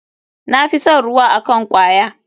Na fi son ruwa akn kwaya.